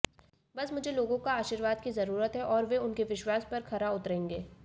बस मुझे लोगों का आशीर्वाद की जरूरत है और वे उनके विश्वास पर खरा उतरेंगे